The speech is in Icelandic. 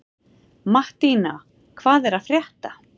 Mattína, hvað er að frétta?